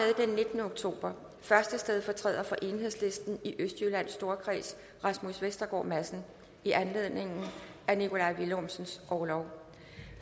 nittende oktober første stedfortræder for enhedslisten i østjyllands storkreds rasmus vestergaard madsen i anledning af nikolaj villumsens orlov